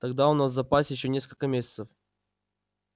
тогда у нас в запасе ещё несколько месяцев